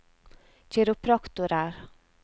kiropraktorer